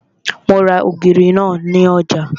Mo ra ògìrì náà ní ọjà